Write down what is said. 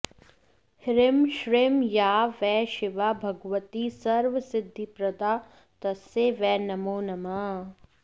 ह्रीं श्रीं या वै शिवा भगवती सर्वसिद्धिप्रदा तस्यै वै नमो नमः